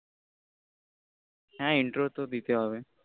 হ্য়াঁ intro দিতে হবে